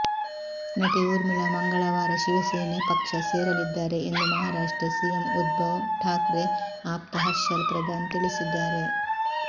ನಟಿ ಊರ್ಮಿಳಾ ಮಂಗಳವಾರ ಶಿವಸೇನೆ ಪಕ್ಷ ಸೇರಲಿದ್ದಾರೆ ಎಂದು ಮಹಾರಾಷ್ಟ್ರ ಸಿಎಂ ಉದ್ಧವ್ ಠಾಕ್ರೆ ಆಪ್ತ ಹರ್ಷಲ್ ಪ್ರಧಾನ್ ತಿಳಿಸಿದ್ದಾರೆ